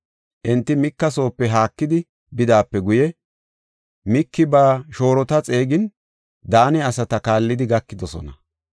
Enti Mika soope haakidi bidaape guye, Miiki ba shoorota xeegin, Daane asata kaallidi gakidosona.